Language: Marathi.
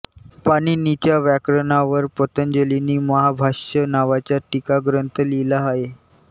पाणिनीच्या व्याकरणावर पतंजलींनी महाभाष्य नावाचा टीकाग्रंथ लिहिला आहे